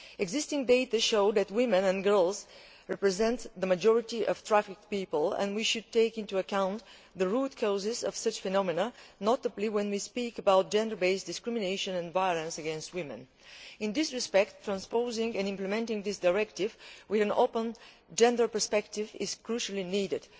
Existing data show that women and girls represent the majority of trafficked people, and we should take into account the root causes of such phenomena, particularly when we speak about gender based discrimination and violence against women. In this respect, transposing and implementing this directive with an open gender perspective is crucially needed.